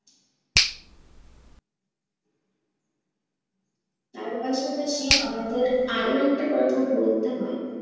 তার পাশাপাশি আমাদের আরো একটা কথা বলতে হয়